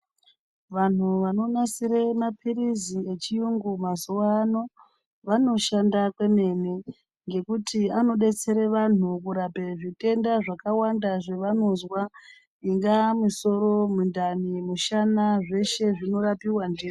Vanhu vanomasire mapirizi echiyungu mazuwano vanoshanda kwemene ngekuti anodetsera vantu kurapa zvirenda zvakawanda zvavanozamwa ingaa musoro mundani mushana zvese zvinorapiwa .